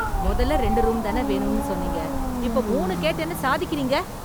மொதல்ல ரெண்டு ரூம்தான வேணும்னு சொன்னீங்க, இப்போ மூணு கேட்டேன்னு சாதிக்கறீங்க.